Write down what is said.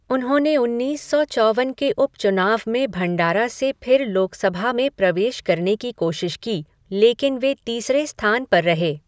उन्होंने उन्नीस सौ चौवन के उपचुनाव में भंडारा से फिर लोकसभा में प्रवेश करने की कोशिश की, लेकिन वे तीसरे स्थान पर रहे।